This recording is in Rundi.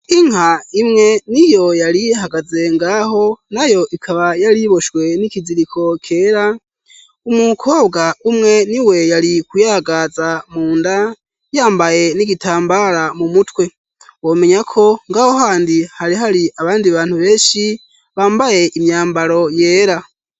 Inka imwe niyo yari ihagaze ngaho nayo ikaba yari iboshwe n'ikiziriko kera, umukobwa umwe niwe yari kuyagaza munda, yambaye n'igitambara mu mutwe. Womenya ko ngaho handi hari abandi bantu beshi bambaye imyambaro yera.